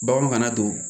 Baganw kana don